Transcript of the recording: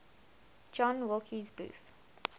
john wilkes booth